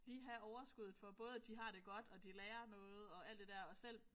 Lige have overskuddet for både at de har det godt og de lærer noget og alt det der og selv